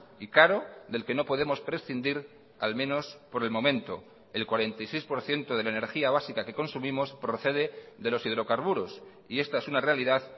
y caro del que no podemos prescindir al menos por el momento el cuarenta y seis por ciento de la energía básica que consumimos procede de los hidrocarburos y esta es una realidad